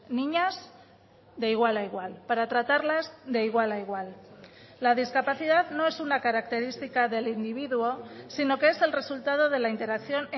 niñas de igual a igual para tratarlas de igual a igual la discapacidad no es una característica del individuo sino que es el resultado de la interacción